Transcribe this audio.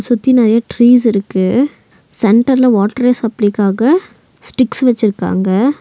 சுத்தி நெறைய ட்ரீஸ் இருக்கு சென்டர்ல வாட்ரு சப்ளைக்காக ஸ்டிக்ஸ் வெச்சுருக்காங்க.